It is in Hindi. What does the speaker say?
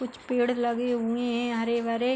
कुछ पेड़ लगे हुए हैं हरे भरे।